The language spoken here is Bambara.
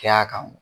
Kɛ a kan